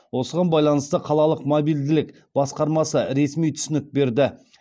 осыған байланысты қалалық мобильділік басқармасы ресми түсінік берді